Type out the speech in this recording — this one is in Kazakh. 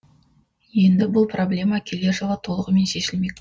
енді бұл проблема келер жылы толығымен шешілмек